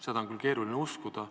Seda on küll keeruline uskuda.